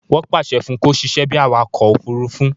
Wọ́n pàṣẹ fún un kó sisẹ́ bíi awakọ̀ òfurufú